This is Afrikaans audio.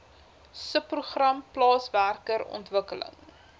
subprogram plaaswerker ontwikkeling